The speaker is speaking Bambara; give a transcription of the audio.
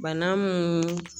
Bana mun